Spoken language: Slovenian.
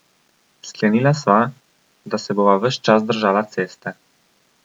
Sklenila sva, da se bova ves čas držala ceste.